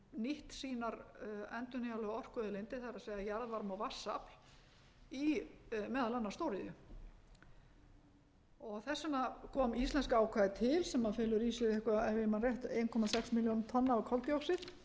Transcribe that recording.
nýtt sínar endurnýjanlegu orkuauðlindir það er jarðvarma og vatnsafl í meðal annars stóriðju þess vegna kom íslenska ákvæðið til sem felur í sér eitthvað ef ég man rétt eins komma sex milljón tonna af koltvíoxíð